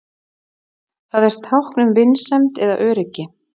Það er tákn um vinsemd eða öryggi.